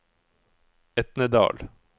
Etnedal